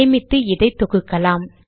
சேமித்து இதை தொகுக்கலாம்